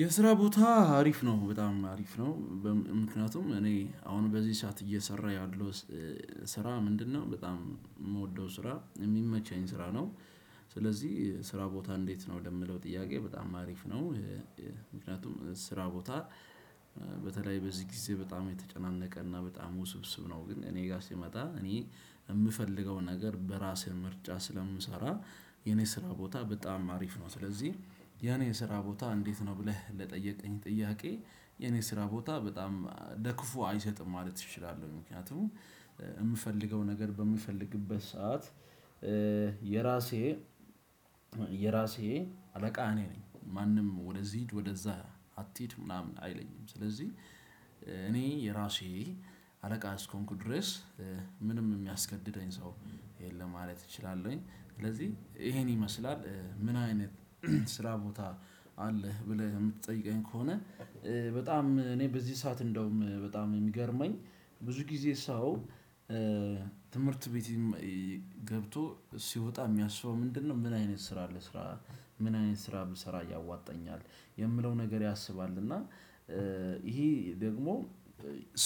የስራ ቦታ አሪፍ ነው በጣም አሪፍ ነው። ምክንያቱም እኔ አሁን በዚህ ሰዓት እየሰራው ያለውት ስራ ምንድነው? በጣም የምወደው ስራ የሚመቸኝ ስራ ነው። ስለዚህ ስራ ቦታ እንዴት? ነው ለሚለው ጥያቄ በጣም አሪፍ ነው። ምክንያቱም ስራ ቦታ በተለይ በዚህ ጊዜ በጣም የተጨናነቀ እና በጣም ውስብስብ ነው ግን እኔ ጋር ሲመጣ እኔ የምፈልገውን ነገር በራስህ ምርጫ ስለምሰራ የኔ ስራ ቦታ በጣም አሪፍ ነው። ስለዚህ የኔ ስራ ቦታ እንዴት? ነው ብለህ ለጠየቅክኝ ጥያቄ የኔ ስራ ቦታ በጣም ለክፉ አይሰጥም ማለት እችላለሁ። ምክንያቱም የምፈልገው ነገር በምፈልግበት ሰዓት የራሴ የራሴ አለቃ እኔ ነኝ። ማንም ወደዚህ ሂድ ወደዛ አትሂድ ምናምን አይለኝም። ስለዚህ እኔ የራሴ አለቃ እስከሆንኩ ድረስ ምንም የሚያስገድደኝ ሰው የለም ማለት እችላለሁኝ። ስለዚህ ይሄን ይመስላል ምን አይነት ስራ ቦታ አለህ? ብለህ የምትጠይቀኝ ከሆነ በጣም እኔ በዚህ ሰዓት እንደውም በጣም የሚገርመኝ ብዙ ጊዜ ሰው ትምህርት ቤት ገብቶ ሲወጣ የሚያስበው ምንድነው? ምን አይነት ስራ ልስራ ምን አይነት ስራ ብሰራ ያዋጣኛል የሚለውን ነገር ያስባል። እና ይሄ ደግሞ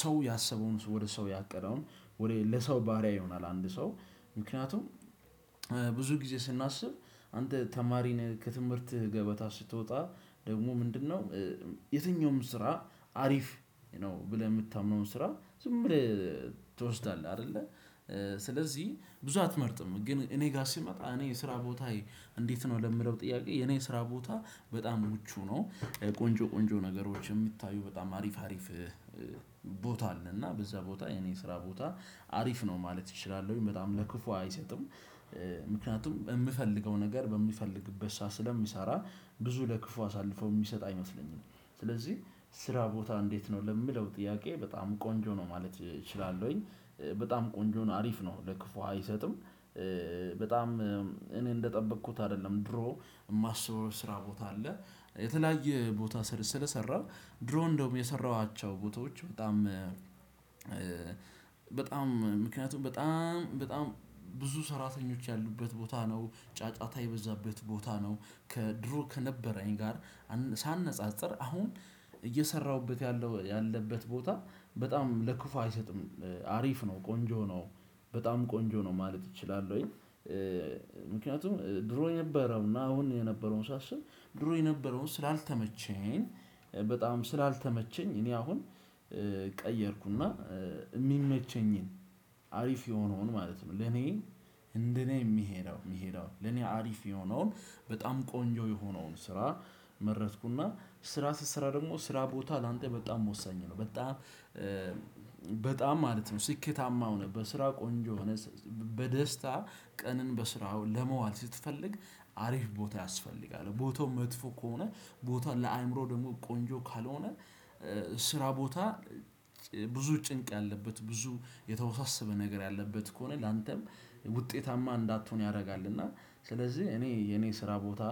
ሰው ያሰበውን ወደ ሰው ያቀደውን ወደ ለሰው ባሪያ ይሆናል። አንድ ሰው ምክንያቱም ብዙ ጊዜ ስናስብ አንተ ተማሪ ነህ ከትምህርት ገበታ ስትወጣ ደግሞ ምንድነው? የትኛውም ስራ አሪፍ ነው ብለህ የምታምነውን ስራ ዝም ብለህ ትወስዳለህ አይደለ። ስለዚህ ብዙ አትመርጥም ግን እኔ ጋር ሲመጣ እኔ የስራ ቦታዬ እንዴት ነው ለሚለው ጥያቄ የኔ የስራ ቦታ በጣም ምቹ ነው። ቆንጆ ቆንጆ ነገሮች የሚታዩ በጣም አሪፍ አሪፍ ቦታ አለና በዛ ቦታ የኔ ስራ ቦታ አሪፍ ነው ማለት እችላለሁኝ በጣም ለክፉ አይሰጥም። ምክንያቱም የምፈልገው ነገር በምፈልግበት ሰዓት ስለምሰራ ብዙ ለክፉ አሳልፎ የሚሰጥ አይመስለኝም ስለዚህ ስራ ቦታ እንዴት ነው ለሚለው ጥያቄ በጣም ቆንጆ ነው ማለት እችላለውኝ። በጣም ቆንጆ ነው አሪፍ ነው ለክፉ አይሰጥም። በጣም እኔ እንደጠበቅኩት አይደለም ድሮ የማስበው ስራ ቦታ አለ የተለያየ ቦታ ስለሰራው ድሮ እንደውም የሰራኋቸው ቦታዎች። በጣም ምክንያቱም በጣም በጣም ብዙ ሰራተኞች ያሉበት ቦታ ነው። ጫጫታ የበዛበት ቦታ ነው። ከድሮ ከነበረኝ ጋር ሳነጻጽር አሁን እየሰራሁበት ያለው ያለበት ቦታ በጣም ለክፉ አይሰጥም። አሪፍ ነው ቆንጆ ነው በጣም ቆንጆ ነው ማለት እችላለሁኝ። ምክንያቱም ድሮ የነበረውና አሁን የነበረውን ሳስብ ድሮ የነበረውን ስላልተመቸኝ በጣም ስላልተመቸኝ እኔ አሁን ቀየርኩና የሚመቸኝን አሪፍ የሆነውን ማለት ነው። ለኔ እንደኔ የሚሄደው የሚሄደው ለኔ አሪፍ የሆነውን በጣም ቆንጆ የሆነውን ስራ መረጥኩና ስራ ስሰራ ደግሞ ስራ ቦታ ላንተ በጣም ወሳኝ ነው። በጣም በጣም ማለት ነው ስኬታማ ሆነህ በስራ ቆንጆ ሆነህ በደስታ ቀንን በስራ ለመዋል ስትፈልግ አሪፍ ቦታ ያስፈልጋል ቦታው መጥፎ ከሆነ ቦታው ለአእምሮ ደግሞ ቆንጆ ካልሆነ ስራ ቦታ ብዙ ጭንቅ ያለበት ብዙ የተወሳሰበ ነገር ያለበት ከሆነ ላንተም ውጤታማ እንዳትሆን ያደርጋል። እና ስለዚህ እኔ የኔ ስራ ቦታ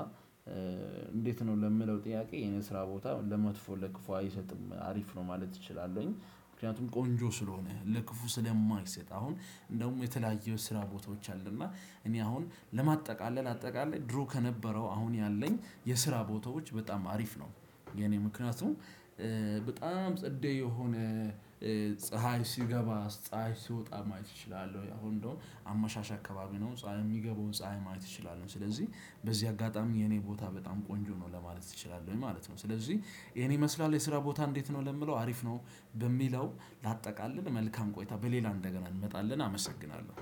እንዴት ነው ለሚለው ጥያቄ የኔ ስራ ቦታ ለመጥፎ ለክፉ አይሰጥም አሪፍ ነው ማለት እችላለሁኝ። ምክንያቱም ቆንጆ ስለሆነ ለክፉ ስለማይሰጥ አሁን እንደውም የተለያየ ስራ ቦታዎች አሉና እኔ አሁን ለማጠቃለል አጠቃለል ድሮ ከነበረው አሁን ያለኝ የስራ ቦታዎች በጣም አሪፍ ነው። የኔ ምክንያቱም በጣም ጸዴ የሆነ ፀሀይ ሲገባ ፀሀይ ሲወጣ ማየት እችላለሁ አሁን እንደው አመሻሽ አካባቢ ነው ፀሀይ የሚገባውን ፀሀይ ማየት እችላለሁ ስለዚህ በዚህ አጋጣሚ የኔ ቦታ በጣም ቆንጆ ነው ለማለት እችላለሁኝ። ማለት ነው። ስለዚህ ይሄን ይመስላል የስራ ቦታ እንዴት ነው ለሚለው አሪፍ ነው ለሚለው ላጠቃልል መልካም ቆይታ በሌላ እንደገና እንመጣለን አመሰግናለሁ።